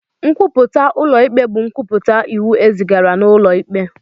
Nkwupụta ụlọ ikpe bụ nkwupụta iwu e zigara n'ụlọ ikpe.